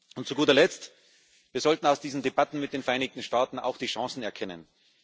Und zu guter Letzt Wir sollten aus diesen Debatten mit den Vereinigten Staaten auch die Chancen erkennen.